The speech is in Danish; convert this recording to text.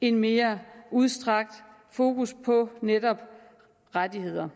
et mere udstrakt fokus på netop rettigheder